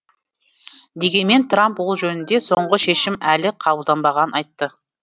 дегенмен трамп ол жөнінде соңғы шешім әлі қабылданбағанын айтты